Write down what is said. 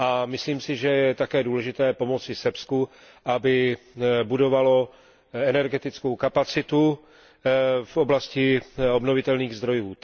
Myslím si, že je také důležité pomoci Srbsku, aby budovalo energetickou kapacitu v oblasti obnovitelných zdrojů.